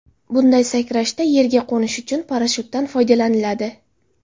Bunday sakrashda yerga qo‘nish uchun parashyutdan foydalaniladi.